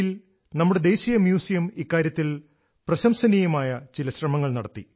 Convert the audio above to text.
ദില്ലിയിൽ നമ്മുടെ ദേശീയ മ്യൂസിയം ഇക്കാര്യത്തിൽ പ്രശംസനീയമായ ചില ശ്രമങ്ങൾ നടത്തി